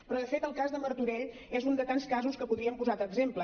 però de fet el cas de martorell és un de tants casos que podríem posar d’exemple